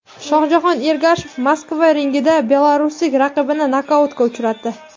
Shohjahon Ergashev Moskva ringida belaruslik raqibini nokautga uchratdi.